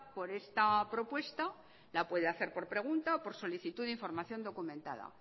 por esta propuesta la puede hacer por pregunta o por solicitud de información documentada